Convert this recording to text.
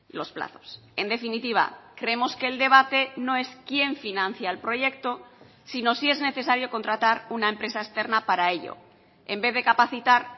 los plazos en definitiva creemos que el debate no es quién financia el proyecto sino si es necesario contratar una empresa externa para ello en vez de capacitar